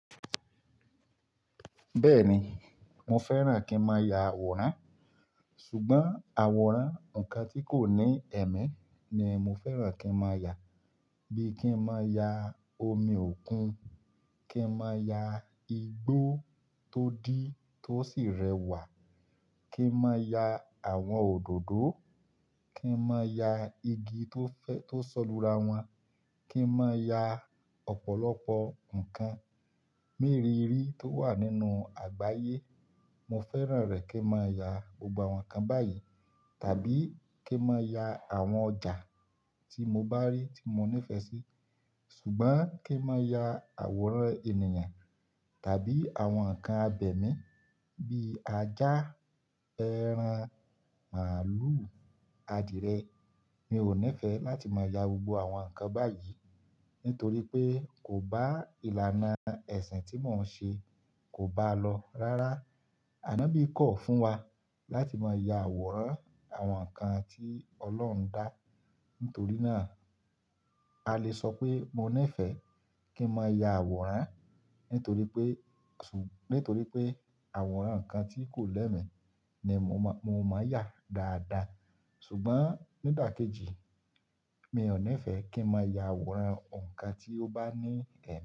Bẹ́ẹ̀ni, mo fẹ́ràn kí n máa ya àwòrán ṣùgbọ́n àwòrán nǹkan tí kò ní ẹ̀mí ni mo fẹ́ràn kí n máa ya. Bí i kí n máa ya omi òkun, kí n máa ya igbó tó dí tó sì rẹwà, kí n máa ya àwọn òdòdó, Kí n máa yà igi tó fẹ́, tó sọ̀lù rawọn, kí n máa yà ọ̀pọ̀lọpọ̀ nǹkan mìírìírí tó wà nínú àgbáyé. Mo fẹ́ràn rẹ̀ kí n máa ya gbogbo àwọn nǹkan báyìí tàbí kí n máa ya àwọn ọjà tí mo bá rí tí mo nífẹ̀ẹ́ sí. Ṣùgbọ́n kí n máa ya àwòrán ènìyàn tàbí àwọn nǹkan abẹ̀mí bíi ajá, ẹran, màlúù, adìẹ mi ò nífẹ̀ẹ́ láti máa ya gbogbo àwọn nǹkan báyìí nítorí pé kò bá ìlànà ẹ̀sìn tí mò ń ṣe, kò bá a lọ rárá. Ànọ́bí kọ̀ fún wa láti máa ya àwòrán àwọn nǹkan tí Ọlọ́run dá. Nítorí náà, a le sọ pé mo nífẹ̀ẹ́ kí n máa ya àwòrán nítorí pé, nítorí pé àwòrán nǹkan tí kò lẹ́mí ni mo máa, mo máa yà dáadáa. Ṣùgbọ́n nígbà kejì, mi ò nífẹ̀ẹ́ kí n máa ya àwòrán nǹkan tí ó bá ní ẹ̀mí.